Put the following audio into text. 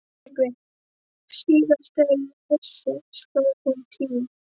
TRYGGVI: Síðast þegar ég vissi sló hún tíu.